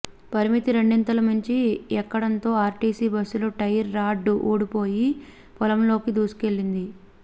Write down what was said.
పరిమితికి రెండింతలు మించి ఎక్కడంతో ఆర్టీసీ బస్సు టైర్ రాడ్ ఊడిపోయి పొలంలోకి దూ సుకెళ్లింది